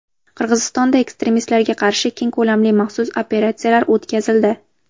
Qirg‘izistonda ekstremistlarga qarshi keng ko‘lamli maxsus operatsiyalar o‘tkazildi.